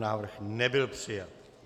Návrh nebyl přijat.